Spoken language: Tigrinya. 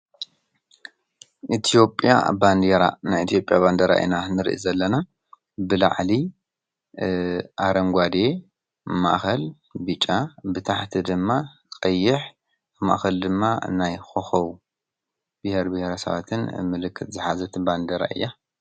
ኢትዮጲያ ባንዴራ ናይ ኢትዮጲያ ባንዴራ ኢና ንርኢ ዘለና ብላዕሊ ኣረንጓዴ፣ ማእከል ብጫ፣ ብታሕቲ ድማ ቀይሕ ማእከሉ ድማ ናይ ኮኮብ ብሄረብሄረሰባትን ምልክት ዝሓዘት ባንዴራ እያ ።